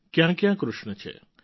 ક્યાંક્યાં કૃષ્ણ છે